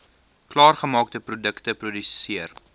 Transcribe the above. klaargemaakte produkte geproduseer